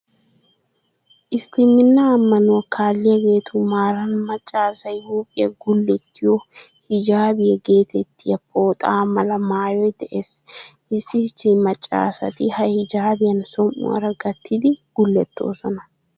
Isliminnaa ammanuwaa kaalliyageetu maaran macca asay huuphiyaa gullettiyo, 'hijaabiyaa' geetettiya pooxa mala maayoy de"ees. Issi issi macca asati ha 'hijaabiyan' som'uwaara gattidi gullettoosona.